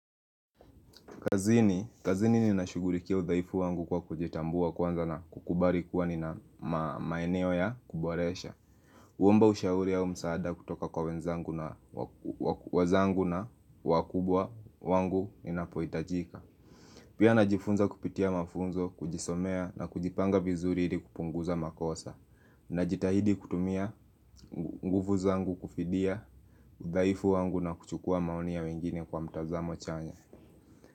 Kazini, kazini ninashughulikia udhaifu wangu kwa kujitambua kwanza na kukubali kuwa nina maeneo ya kuboresha Huomba ushauri au msaada kutoka kwa wenzangu na wenzangu na wakubwa wangu ninapohitajika Pia najifunza kupitia mafunzo, kujisomea na kujipanga vizuri ili kupunguza makosa Najitahidi kutumia nguvu zangu kufidia udhaifu wangu na kuchukua maoni ya wengine kwa mtazamo chanya.